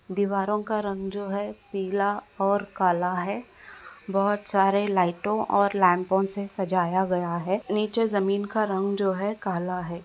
दीवारों का रंग जो है वो पीला और काला है बहुत सारे लाइटो और लैम्पो से सजाया गया है नीचे जमीन रंग जो है काला है।